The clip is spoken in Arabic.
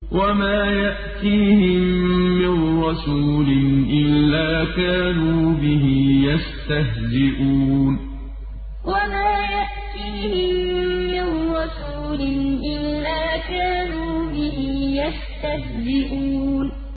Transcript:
وَمَا يَأْتِيهِم مِّن رَّسُولٍ إِلَّا كَانُوا بِهِ يَسْتَهْزِئُونَ وَمَا يَأْتِيهِم مِّن رَّسُولٍ إِلَّا كَانُوا بِهِ يَسْتَهْزِئُونَ